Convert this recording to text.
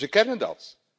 Dus we kennen dat.